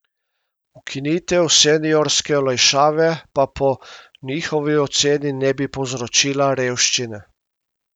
Ukinitev seniorske olajšave pa po njihovi oceni ne bi povzročila revščine.